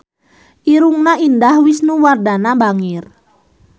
Irungna Indah Wisnuwardana bangir